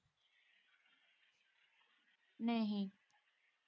ਨਹੀਂ।